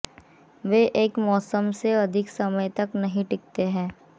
वे एक मौसम से अधिक समय तक नहीं टिकते हैं